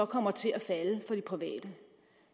kommer til at falde for de private